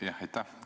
Aitäh!